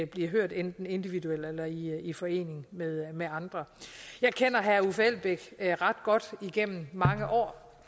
bliver hørt enten individuelt eller i i forening med med andre jeg kender herre uffe elbæk ret godt igennem mange år